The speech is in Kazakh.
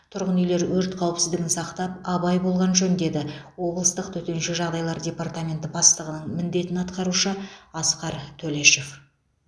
тұрғын үйлер өрт қауіпсіздігін сақтап абай болған жөн деді облыстық төтенше жағдайлар департаменті бастығының міндетін атқарушы асқар төлешов